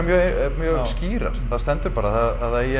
mjög skýrar það stendur bara að það eigi